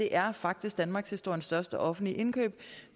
er faktisk danmarkshistoriens største offentlige indkøb